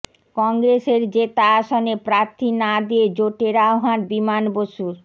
কংগ্রেসের জেতা আসনে প্রার্থী না দিয়ে জোটের আহ্বান বিমান বসুর